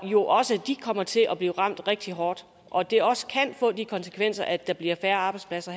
jo også kommer til at blive ramt rigtig hårdt og at det også kan få de konsekvenser at der bliver færre arbejdspladser